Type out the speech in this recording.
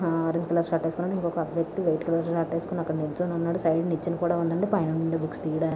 ఆహ్ orange colour shirt ఏస్కున్నాడు ఇంకొత్త వేక్తి వైట్ కలర్ అక్కడ నిల్చొని ఉన్నాడు సైడ్ కి నిచ్చన కూడా ఉన్నదండి పైననుండి బుక్స్ తియాడాన్ --